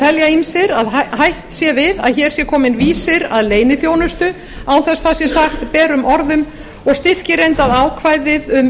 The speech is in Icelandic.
telja ýmsir að hætt sé við að hér sé kominn vísir að leyniþjónustu án þess það sé sagt berum orðum og styrkir reyndar ákvæðið um